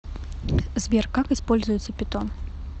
сбер как используется питон